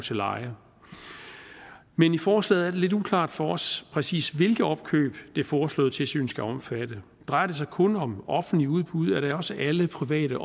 til leje men i forslaget lidt uklart for os præcis hvilke opkøb det foreslåede tilsyn skal omfatte drejer det sig kun om offentlige udbud eller er det også alle private